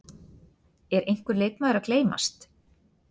Er einhver leikmaður að gleymast?